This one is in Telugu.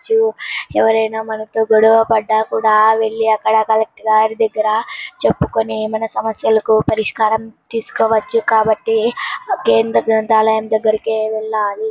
చు- ఎవరైనా మనతో గొడవ పడకుండా వెళ్లి అక్కడ కలెక్టర్ గారి దగ్గర చెప్పుకుని మన సమస్యలకు పరిస్కారం తీసుకోవచ్చు. కాబట్టి కేంద్ర ప్రభుత్వం దగ్గరకి వెళ్ళాలి.